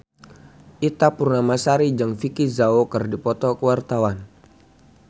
Ita Purnamasari jeung Vicki Zao keur dipoto ku wartawan